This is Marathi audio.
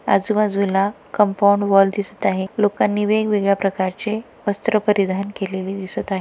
आजूबाजूला कंपाऊंड वॉल दिसत आहे लोकांनी वेगवेगळ्या प्रकारचे वस्त्र परिधान केलेले दिसत आहे.